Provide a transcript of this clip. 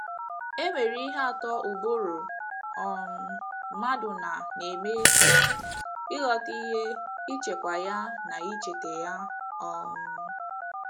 E nwere ihe atọ ụbụrụ um mmadụ na - na - eme: ịghọta ihe, ichekwa ya, na icheta ya um.